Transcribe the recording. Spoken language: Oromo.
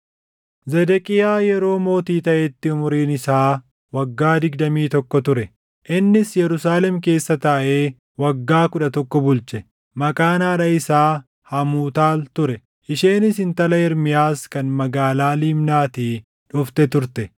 Zedeqiyaa yeroo mootii taʼetti umuriin isaa waggaa digdamii tokkoo ture; innis Yerusaalem keessa taaʼee waggaa kudha tokko bulche. Maqaan haadha isaa Hamuutaal ture; isheenis intala Ermiyaas kan magaalaa Libnaatii dhufte turte.